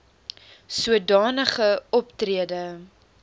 soda nige optrede